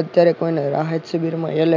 અત્યારે કોઈને રાહત શિબિર માં